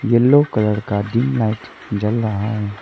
Yellow colour का dim light जल रहा है।